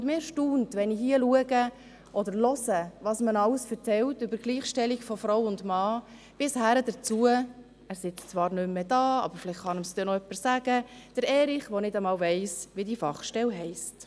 Mich erstaunt es, wenn ich hier höre, was man alles über die Gleichstellung von Frau und Mann erzählt, bin hin zu Erich Hess, der nicht einmal weiss, wie diese Fachstelle heisst – er sitzt zwar nicht mehr im Raum, aber vielleicht kann es ihm jemand sagen.